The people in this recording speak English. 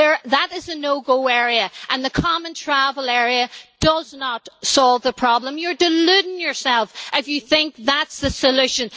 That is a no go area and the Common Travel Area does not solve the problem. You are deluding yourself if you think that is the solution.